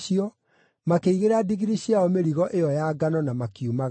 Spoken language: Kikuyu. makĩigĩrĩra ndigiri ciao mĩrigo ĩyo ya ngano na makiumagara.